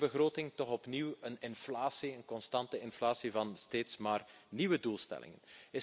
In deze begroting toch opnieuw een inflatie, een constante inflatie van steeds maar nieuwe doelstellingen.